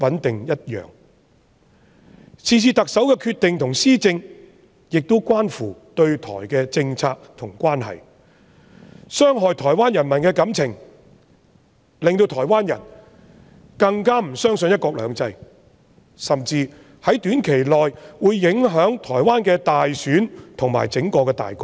特首是次的決定和施政亦關乎對台政策和港台關係，不但傷害了台灣人民的感情，令台灣人更加不相信"一國兩制"，甚至會在短期內影響台灣的大選和整體大局。